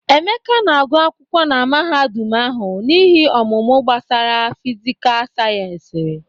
Emeka na-agu akwụkwọ na mahadum ahụ n'ihe ọmụmụ gbasara fịsịkà sayensị.